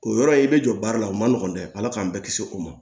O yɔrɔ in i bɛ jɔ baara la o ma nɔgɔn dɛ ala k'an bɛɛ kisi o ma